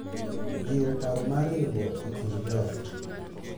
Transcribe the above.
Jiwo paro mar riwruok e kind joot